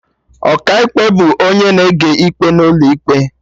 Ọkaikpe bụ onye na-ege ikpe n'ụlọ ikpe